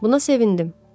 Buna sevindim.